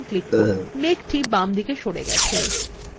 মেঘ the বামদিকে সরে গেছে